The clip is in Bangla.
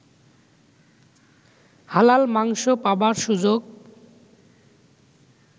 হালাল মাংস পাবার সুযোগ